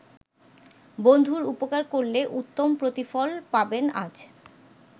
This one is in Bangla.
বন্ধুর উপকার করলে উত্তম প্রতিফল পাবেন আজ।